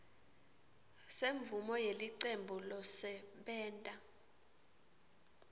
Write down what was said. semvumo yelicembu losebenta